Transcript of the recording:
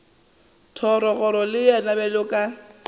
thogorogo le yena bjalo ka